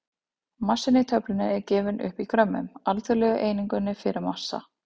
Massinn í töflunni er gefinn upp í grömmum, alþjóðlegu einingunni fyrir massa.